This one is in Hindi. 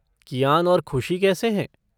कियान और खुशी कैसे हैं?